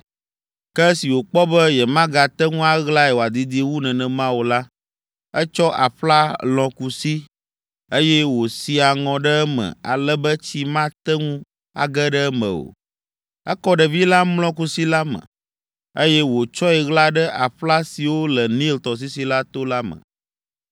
Ke esi wòkpɔ be yemagate ŋu aɣlae wòadidi wu nenema o la, etsɔ aƒla lɔ̃ kusi, eye wòsi aŋɔ ɖe eme ale be tsi mate ŋu age ɖe eme o. Ekɔ ɖevi la mlɔ kusi la me, eye wòtsɔe ɣla ɖe aƒla siwo le Nil tɔsisi la to la me.